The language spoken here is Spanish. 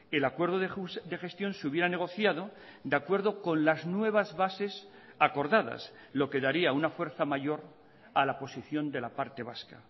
el acuerdo de gestión se hubiera negociado de acuerdo con las nuevas bases acordadas lo que daría una fuerza mayor a la posición de la parte vasca